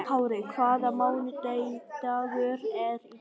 Kárí, hvaða mánaðardagur er í dag?